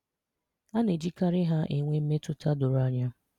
A na-ejikarị ha ewe mmetụta doro anya.